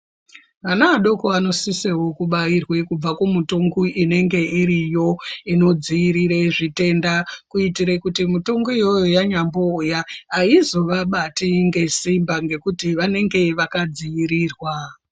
Ana adoko anosiseWo kubairwe kubve kumitongo inenge iriyo inodziirire zvitenda kuitire kuti mutongo iyoyo yanyambouya aizovabati ngesimba ngekuti vanenge vakadziirirwa.